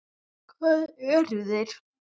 Hvað eru þeir?